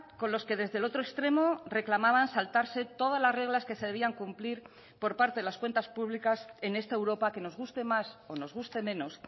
con los que desde el otro extremo reclamaban saltarse todas las reglas que se debían cumplir por parte de las cuentas públicas en esta europa que nos guste más o nos guste menos